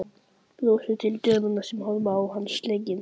Brosir til dömunnar sem horfir á hann slegin.